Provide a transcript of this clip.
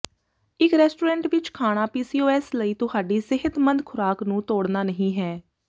ਇੱਕ ਰੈਸਟੋਰੈਂਟ ਵਿੱਚ ਖਾਣਾ ਪੀਸੀਓਐਸ ਲਈ ਤੁਹਾਡੀ ਸਿਹਤਮੰਦ ਖ਼ੁਰਾਕ ਨੂੰ ਤੋੜਨਾ ਨਹੀਂ ਹੈ